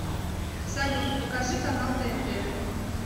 салют покажи канал тнт